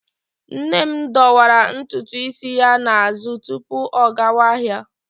Nne m dọwara ntutu isi ya n'azụ tupu ọ gawa ahịa.